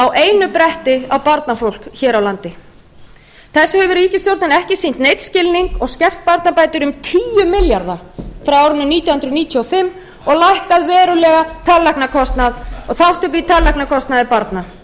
á einu bretti á barnafólk hér á landi þessu hefur ríkisstjórnin ekki sýnt neinn skilning og skert barnabætur um tíu milljarða frá árinu nítján hundruð níutíu og fimm og lækkað verulega tannlæknakostnað og þátttöku í tannlæknakostnaði barna barnafólk